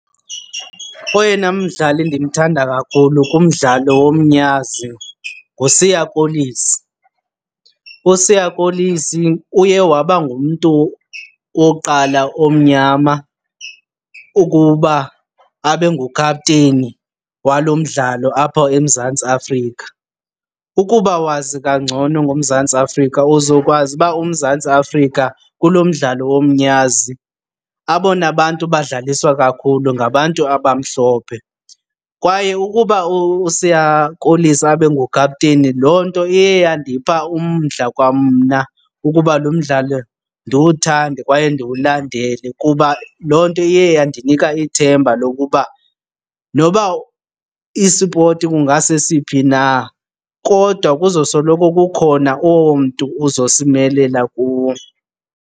Oyena mdlali ndimthanda kakhulu kumdlalo womnyazi nguSiya Kolisi. USiya Kolisi uye waba ngumntu wokuqala omnyama ukuba abe ngukhapteni walo mdlalo apha eMzantsi Afrika. Ukuba wazi kangcono ngoMzantsi Afrika uzokwazi uba uMzantsi Afrika kulo mdlalo womnyazi abona bantu badlaliswa kakhulu ngabantu abamhlophe. Kwaye ukuba uSiya Kolisi abe ngukhapteni loo nto iye yandipha umdla kwamna ukuba lo mdlalo ndiwuthande kwaye ndiwulandele kuba loo nto iye yandinika ithemba lokuba noba isipoti kungasesiphi na kodwa kuzosoloko kukhona owo mntu uzosimelela kuwo.